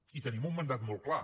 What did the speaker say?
i tenim un mandat molt clar